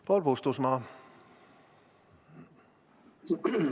Paul Puustusmaa, palun!